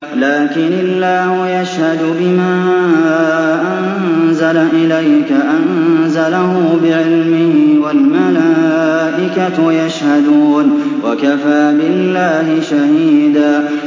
لَّٰكِنِ اللَّهُ يَشْهَدُ بِمَا أَنزَلَ إِلَيْكَ ۖ أَنزَلَهُ بِعِلْمِهِ ۖ وَالْمَلَائِكَةُ يَشْهَدُونَ ۚ وَكَفَىٰ بِاللَّهِ شَهِيدًا